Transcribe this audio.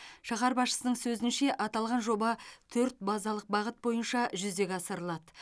шаһар басшысының сөзінше аталған жоба төрт базалық бағыт бойынша жүзеге асырылады